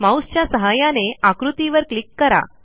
माऊसच्या सहाय्याने आकृतीवर क्लिक करा